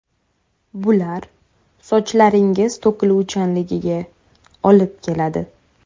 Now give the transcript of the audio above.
Bular sochlaringiz to‘kiluvchanligiga olib keladi.